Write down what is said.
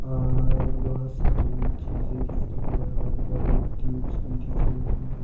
और बहोत सारी चीजें दिख रही है और बलफ बल्ब ट्यूब्स भी दिख रहे हैं।